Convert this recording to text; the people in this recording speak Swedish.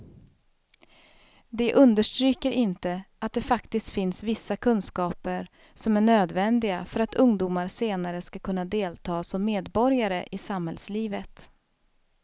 De understryker inte att det faktiskt finns vissa kunskaper som är nödvändiga för att ungdomar senare ska kunna delta som medborgare i samhällslivet.